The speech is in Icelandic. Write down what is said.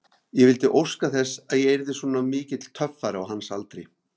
Ég vildi óska þess að ég yrði svona mikill töffari á hans aldri.